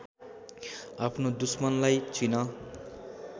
आफ्नो दुश्मनलाई चिन